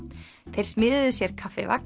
þeir smíðuðu sér